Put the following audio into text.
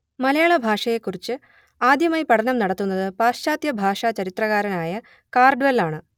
മലയാള ഭാഷയെക്കുറിച്ച് ആദ്യമായി പഠനം നടത്തുന്നത് പാശ്ചാത്യ ഭാഷാ ചരിത്രകാരനായ കാൾഡ്വെൽ ആണ്